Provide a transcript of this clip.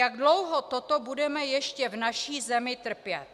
Jak dlouho toto budeme ještě v naší zemi trpět?